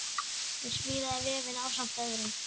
Hún smíðaði vefinn ásamt öðrum.